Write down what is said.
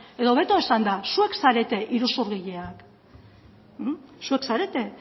edo hobeto esanda zuek zarete iruzurgileak zuek zarete